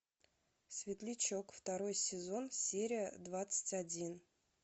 светлячок второй сезон серия двадцать один